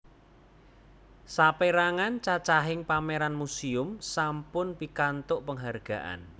Sapèrangan cacahing pameran muséum sampun pikantuk penghargaan